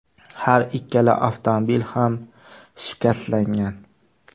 Har ikkala avtomobil ham shikastlangan.